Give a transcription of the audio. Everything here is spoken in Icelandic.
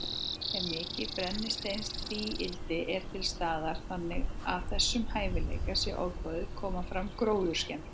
Ef mikið brennisteinstvíildi er til staðar, þannig að þessum hæfileika sé ofboðið, koma fram gróðurskemmdir.